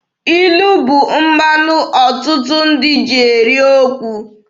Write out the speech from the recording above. Ilu bụ mmanụ ọtụtụ ndị ji eri okwu.